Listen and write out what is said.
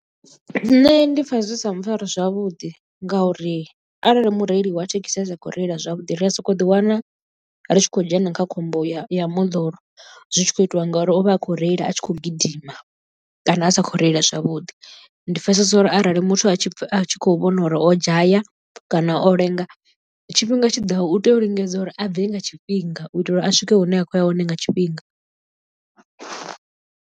Nṋe ndi pfha zwi sa mpfhari zwavhuḓi ngauri arali mureili wa thekhisi a sa khou reila zwavhuḓi ri a sokou ḓiwana ri tshi khou dzhena kha khombo ya moḓoro, zwi tshi khou itiwa ngori ivha akho reila a tshi khou gidima kana a sa khou reila zwavhuḓi. Ndi pfhesesa uri arali muthu a tshi vhona uri o dzhaya kana o lenga tshifhinga tshiḓaho u tea u lingedza uri a bve nga tshifhinga u itela uri a swike hune a khou ya hone nga tshifhinga.